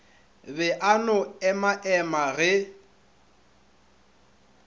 be a no emaema ge